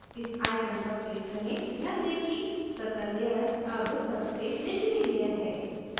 इस icon पर click करें ध्यान दें कि circle layer अब सबसे निचली layer है